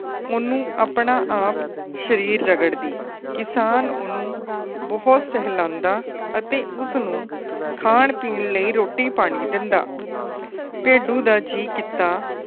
ਉਹਨੂੰ ਆਪਣਾ ਆਪ ਸਰੀਰ ਰਗੜਦੀ। ਕਿਸਾਨ ਉਹਨੂੰ ਬੋਹਤ ਸਹਿਲਾਂਦਾ ਅਤੇ ਉਸ ਨੂੰ ਖਾਨ ਪੀਣ ਲਈ ਰੋਟੀ ਪਾਣੀ ਦਿੰਦਾ। ਤੇ ਭੇਡੂ ਦਾ ਜੀ ਕੀਤਾ